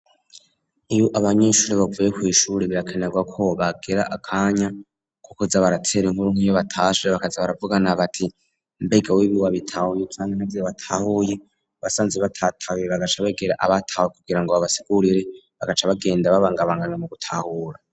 Iyo abanyeshuri bavuye kw'ishuri birakenerwa ko bagira akanya ko kuza baratera inkuru nk'iyo batashe bakaza baravugana bati: "mbega we ibi wabitahuye canke ntavyo watahuye?" Basanze batabitahuye bagaca begera ababitahuye kugira ngo babasigurire bagaca bagenda babangabanganwa mu gutahura.